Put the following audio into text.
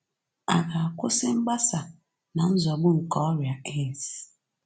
À ga-akwụsị mgbasa na-nzọgbu nke ọrịa AIDS?